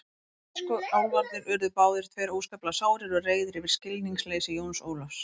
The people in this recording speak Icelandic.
Tískuálfarnir urðu báðir tveir óskaplega sárir og reiðir yfir skilningsleysi Jóns Ólafs.